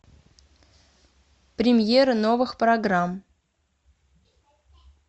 премьеры новых программ